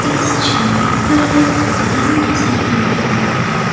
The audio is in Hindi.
इस छवि पर एक दुकान नजर आ रहा है।